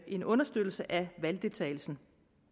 en understøttelse af valgdeltagelsen